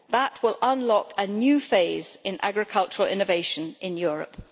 That will unlock a new phase in agricultural innovation in Europe.